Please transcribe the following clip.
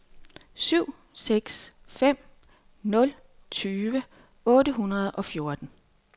syv seks fem nul tyve otte hundrede og fjorten